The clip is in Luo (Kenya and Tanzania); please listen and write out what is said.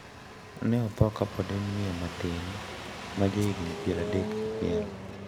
Ne otho kapod en miyo matin ma ja higni pier adek gi achiel.